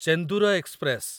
Chendur express